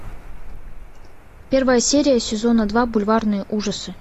первая серия сезона два бульварные ужасы